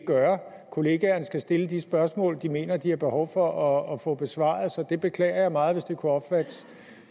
gøre kollegaerne skal stille de spørgsmål de mener de har behov for at få besvaret så jeg beklager meget hvis det kunne opfattes